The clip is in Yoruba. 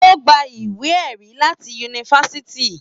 O gbà ìwé ẹ̀rí láti Yunifásítì.